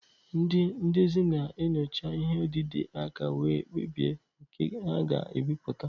Ndị ndezi na-enyocha ihe odide aka wee kpebie nke ha ga-ebipụta.